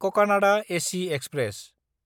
Kakinada AC express